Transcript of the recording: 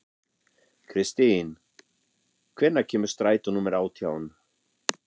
Kristin, hvenær kemur strætó númer átján?